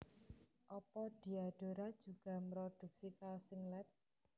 Opo Diadora juga mroduksi kaos singlet